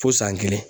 Fo san kelen